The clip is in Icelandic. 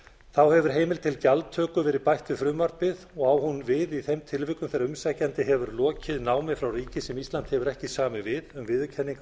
þá hefur heimild til gjaldtöku verið bætt við frumvarpið og á hún við í þeim tilvikum þegar umsækjandi hefur lokið námi frá ríki sem ísland hefur ekki samið við um viðurkenningu á